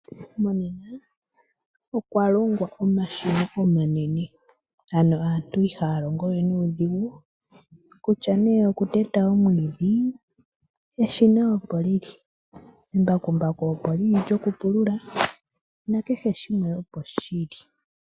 Monena okwalongwa omashina omanene ano aantu ihaya longo we nuudhigu kutya nee okuteta omwiidhi, eshina opo lili. Embakumbaku opo lili lyokupulula nakehe shimwe opo shili.